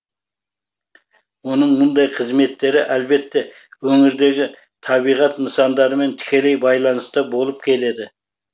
оның мұндай қызметтері әлбетте өңірдегі табиғат нысандарымен тікелей байланыста болып келеді